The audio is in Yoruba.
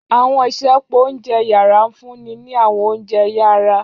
Àwọn isẹpo ounjẹ yara nfunni ni àwọn ounjẹ yara.